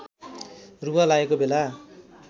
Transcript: रुघा लागेको बेला